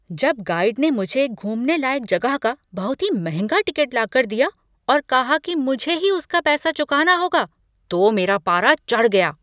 जब गाइड ने मुझे घूमने लायक जगह का बहुत ही महंगा टिकट लाकर दिया और कहा कि मुझे ही उसका पैसा चुकाना होगा तो मेरा पारा चढ़ गया।